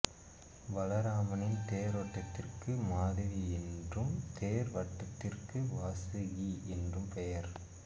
பலராமரின் தேரோட்டிக்கு மாதவி என்றும் தேர் வடத்திற்கு வாசுகி என்றும் பெயர்